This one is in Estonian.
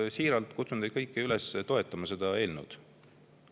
Siiralt kutsun teid kõiki üles toetama seda eelnõud.